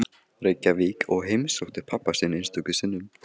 Reykjavík og heimsótti pabba sinn einstöku sinnum.